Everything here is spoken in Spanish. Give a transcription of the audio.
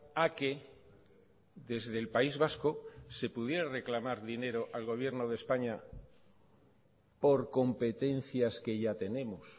a que desde el país vasco se pudiera reclamar dinero al gobierno de españa por competencias que ya tenemos